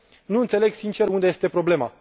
Nu înțeleg, sincer, unde este problema.